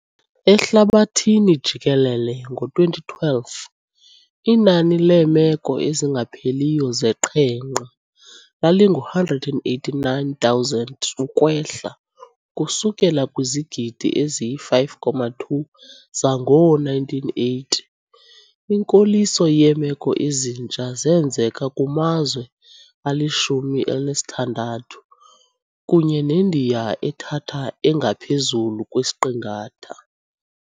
Ehlabathini jikelele ngo-2012, inani leemeko ezingapheliyo zeqhenqa lalingu-189,000 ukwehla ukusukela kwizigidi ezi-5.2 zangoo-1980. Inkoliso yeemeko ezintsha zenzeka kumazwe ali-16, kunye neNdiya ethatha engaphezulu kwesiqingatha.